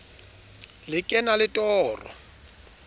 le ke na le toro